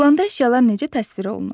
Planda əşyalar necə təsvir olunur?